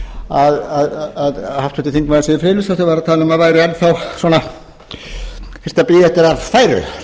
þingmaður siv friðleifsdóttir var að tala um að væri enn þá svona þyrfti að bíða eftir að færi ef ég